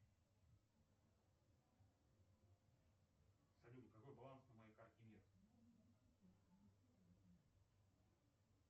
салют какой баланс на моей карте мир